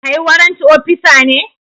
Kai warrant opisa ne?